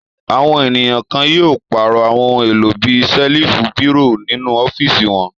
Àwọn ènìyàn kan yóò pàrọ̀ àwọn ohun-èlò bí i ṣẹ́lífù, bírò nínú ọ́fíísì wọn.